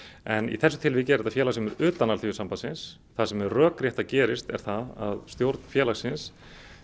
í þessu tilviki er þetta félag sem er utan Alþýðusambandsins það sem er rökrétt að gerist er það að stjórn félagsins